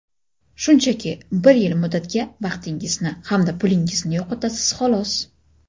Shunchaki bir yil muddatga vaqtingizni hamda pulingizni yo‘qotasiz xolos.